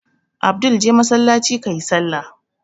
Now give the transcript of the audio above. Abdul je masallaci ka yi sallah!